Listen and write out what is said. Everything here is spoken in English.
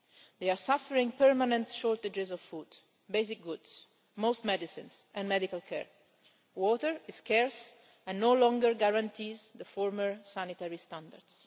They are suffering permanent shortages of food, basic goods, most medicines and medical care. Water is scarce and no longer guarantees the former sanitary standards.